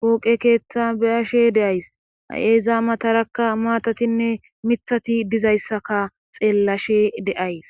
kooqe keeththa beyashe de7ays hay7eezaa matarakka maatatinne mithati dizayssaka xeellashe de7ays.